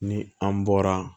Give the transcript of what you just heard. Ni an bɔra